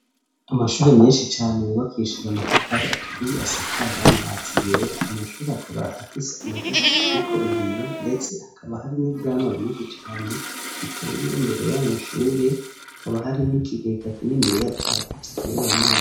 amashure menshi cane yubakishije amatafari aturiye asakaje amabati yera aya mashuri akaba afise amadirisha ariko ibiyo ndetse hakaba hari n'ivyamwa vyinshi cane biteye imbere y'amashuri hakaba hari n'ikigega kininiya cagutse kirimwo amazi.